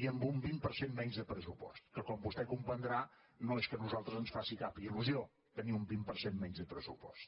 i amb un vint per cent menys de pressupost que com vostè comprendrà no és que a nosaltres ens faci cap il·lusió tenir un vint per cent menys de pressupost